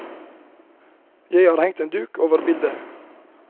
Jeg har hengt en duk over bildet.